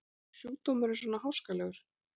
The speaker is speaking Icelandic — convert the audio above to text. Er sjúkdómurinn svona háskalegur?